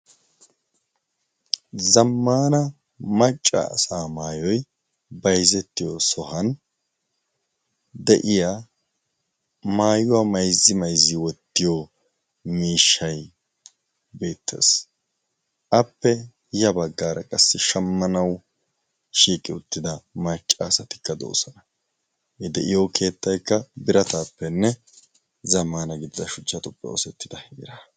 zammaana maccaasa maayoi baizzettiyo sohan de7iya maayuwaa maizzi maizzi wottiyo miishshai beettees appe ya baggaara qassi shammanau shiiqi uttida maccaasatikka doosana e de7iyo keettaikka birataappenne zamaana giddida shuchchatuppe oosettida heera